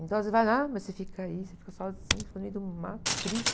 Então, você vai, ah, mas você fica aí, você fica sozinho, fica dentro do mato, triste.